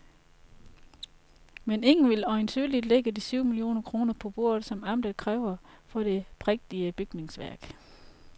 Men ingen vil øjensynligt lægge de syv millioner kroner på bordet, som amtet kræver for det prægtige bygningsværk.